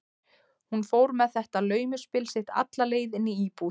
Hún fór með þetta laumuspil sitt alla leið inn í íbúð